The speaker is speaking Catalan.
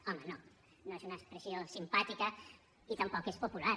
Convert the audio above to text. home no no és una expressió simpàtica i tampoc és popular